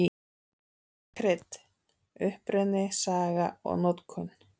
Krydd: Uppruni, saga og notkun.